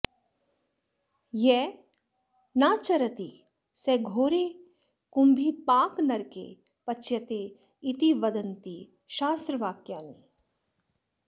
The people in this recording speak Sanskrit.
यः नाचरति सः घोरे कुम्भीपाकनरके पच्यते इति वदन्ति शास्त्रवाक्यानि